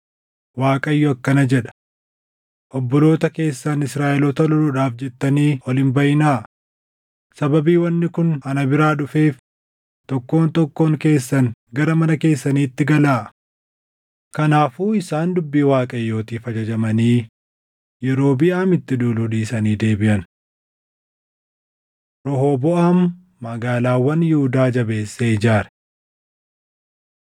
‘ Waaqayyo akkana jedha: Obboloota keessan Israaʼeloota loluudhaaf jettanii ol hin baʼinaa. Sababii wanni kun ana biraa dhufeef tokkoon tokkoon keessan gara mana keessaniitti galaa.’ ” Kanaafuu isaan dubbii Waaqayyootiif ajajamanii Yerobiʼaamitti duuluu dhiisanii deebiʼan. Rehooboʼaam Magaalaawwan Yihuudaa Jabeessee Ijaare